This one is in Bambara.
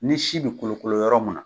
Ni si bi kolokolo yɔrɔ mun na